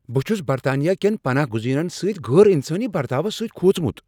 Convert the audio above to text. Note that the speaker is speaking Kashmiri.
بہٕ چھس برطانیہ کین پناہ گزینن سۭتۍ غیر انسانی برتاو سۭتۍ کھوژمت۔